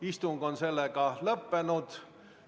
Istung on lõppenud.